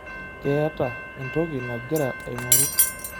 Keeta entoki nagira aing'oru.